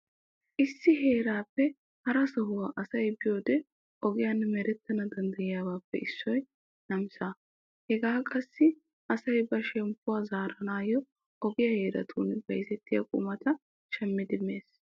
Issi heerappe hara sohuwa asay biyode oggiyan merettana danddayibabeppe issoy namissa. Hegekka qassi asay ba shemppuwa zaaranawu oggiya heerattun bayzzettiya qumata shaammidi mees.